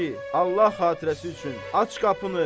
Ay kişi, Allah xatirəsi üçün aç qapını!